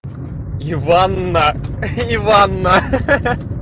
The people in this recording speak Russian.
иванна иванна ха-ха